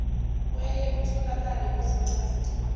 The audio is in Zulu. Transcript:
oyaye utholakale kuzincazelo